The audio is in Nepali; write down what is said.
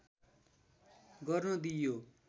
गर्न दिइयो